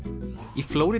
í Flórída